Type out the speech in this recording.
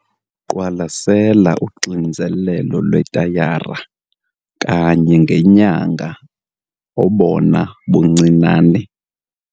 Qwalasela uxinzelelo lwetayara kanye ngenyanga obona buncinane